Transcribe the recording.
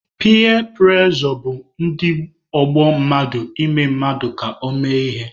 Piya prejọ bụ ndị ọgbọ mmadụ ime mmadụ ka ọ mee ihe.